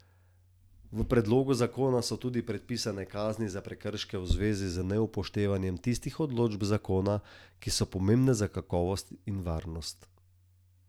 V predlogu zakona so tudi predpisane kazni za prekrške v zvezi z neupoštevanjem tistih določb zakona, ki so pomembne za kakovost in varnost.